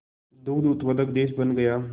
दुग्ध उत्पादक देश बन गया